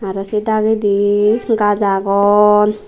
aro se dagedi gaaz agon.